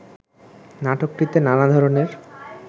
নাটকটিতে নানা ধরনের